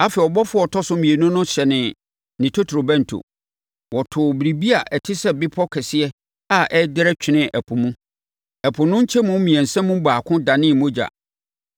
Afei, ɔbɔfoɔ a ɔtɔ so mmienu no hyɛnee ne totorobɛnto. Wɔtoo biribi a ɛte sɛ bepɔ kɛseɛ a ɛrederɛ twenee ɛpo mu. Ɛpo no nkyɛmu mmiɛnsa mu baako danee mogya.